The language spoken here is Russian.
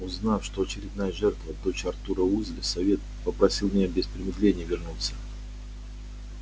узнав что очередная жертва дочь артура уизли совет попросил меня без промедления вернуться